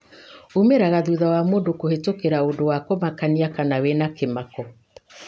umĩraga thutha wa mũndũ kũhĩtũkĩra ũndũ wa kũmakania kana wĩna kĩmako.